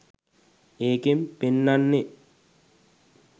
ඒකෙං පෙන්නන්නෙ